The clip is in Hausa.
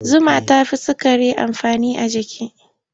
Zuma ta fi sukari amfani a jiki.